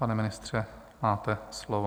Pane ministře, máte slovo.